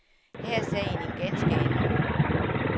Her er sagen en ganske anden.